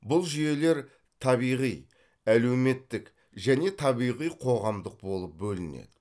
бұл жүйелер табиғи әлеуметтік және табиғи қоғамдық болып бөлінеді